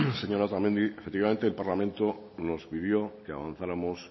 señora otamendi efectivamente el parlamento nos pidió que avanzáramos